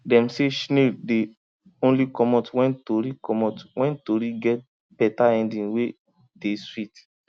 dem say shnail dey only comot wen tori comot wen tori get beta ending wey dey swit